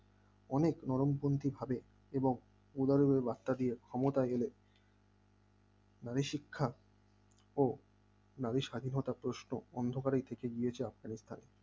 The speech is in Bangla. অনেক নরমপন্থী ভাবে এবং উদারনৈতিক বার্তা দিয়ে ক্ষমতায় এলে নারী শিক্ষা ও নারী স্বাধীনতার প্রশ্ন অন্ধকারে থেকে গিয়েছে আফগানিস্তানে